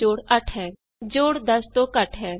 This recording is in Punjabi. sum of A and B is 8 ਜੋੜ 10 ਤੋਂ ਘਟ ਹੈ